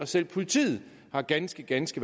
selv politiet har ganske ganske